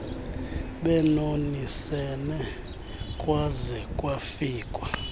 bebonisene kwaze kwafikwa